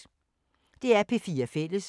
DR P4 Fælles